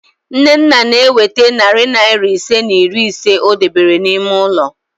Nnenna na-eweta narị naịra ise na iri ise o debere n'ime ụlọ